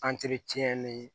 ni